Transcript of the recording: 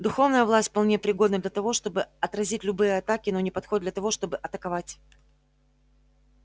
духовная власть вполне пригодна для того чтобы отразить любые атаки но не подходит для того чтобы атаковать